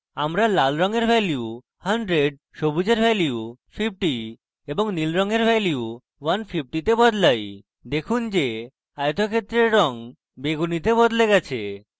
আমার লাল রঙের value 100 সবুজের value 50 এবং নীল রঙের value 150 তে বদলাই দেখুন যে আয়তক্ষেত্রের red বেগুনীতে বদলে গেছে